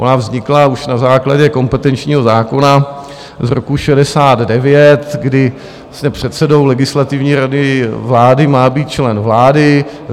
Ona vznikla už na základě kompetenčního zákona z roku 1969, kdy předsedou Legislativní rady vlády má být člen vlády.